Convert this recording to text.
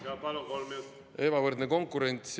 Jaa, palun, kolm minutit!